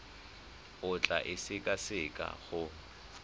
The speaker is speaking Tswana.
o tla e sekaseka go